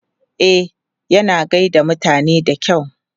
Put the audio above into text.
E, yana gai da mutane da kyau.